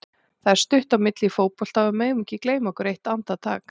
Það er stutt á milli í fótbolta og við megum ekki gleyma okkur eitt andartak.